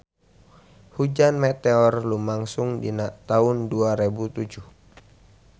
Hujan meteor lumangsung dina taun dua rebu tujuh